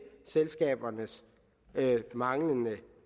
selskabernes manglende